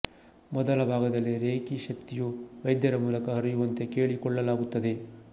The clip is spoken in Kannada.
ಮೊದಲ ಭಾಗದಲ್ಲಿ ರೇಖಿ ಶಕ್ತಿಯು ವೈದ್ಯರ ಮೂಲಕ ಹರಿಯುವಂತೆ ಕೇಳಿಕೊಳ್ಳಲಾಗುತ್ತದೆ